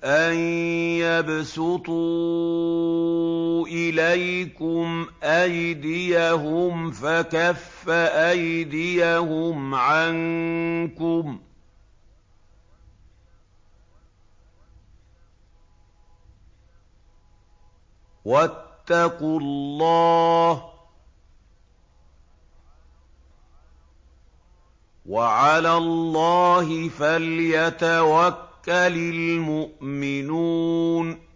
أَن يَبْسُطُوا إِلَيْكُمْ أَيْدِيَهُمْ فَكَفَّ أَيْدِيَهُمْ عَنكُمْ ۖ وَاتَّقُوا اللَّهَ ۚ وَعَلَى اللَّهِ فَلْيَتَوَكَّلِ الْمُؤْمِنُونَ